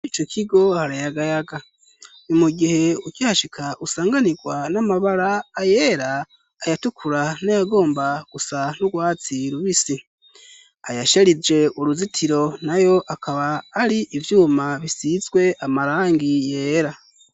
Ico kigo harayagayaga ni mu gihe ukihashika usanganirwa n'amabara ayera ayatukura n'ayagomba gusa n'ugwatsi rubisi ayasharije uruzitiro nayo akaba ari ivyuma bisizwe amarangi yera.